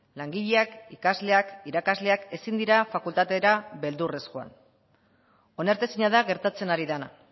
langileak ikasleak irakasleak ezin dira fakultatera beldurrez joan onartezina da gertatzen ari dena